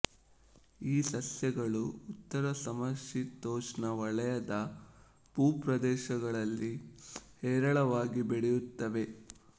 ಈ ಸಸ್ಯಗಳು ಉತ್ತರ ಸಮಶೀತೋಷ್ಣ ವಲಯದ ಭೂಪ್ರದೇಶಗಳಲ್ಲಿ ಹೇರಳವಾಗಿ ಬೆಳೆಯುತ್ತವೆ